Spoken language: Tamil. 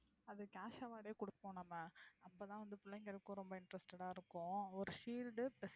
அதுக்கு cash award ஏ கொடுப்போம் நம்ம அப்போ தான் வந்து பிள்ளைங்களுக்கும் ரொம்ப interested ஆ இருக்கும் ஒரு shield plus